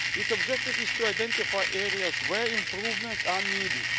Its objective is to identify areas where improvements are needed.